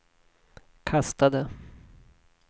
kastade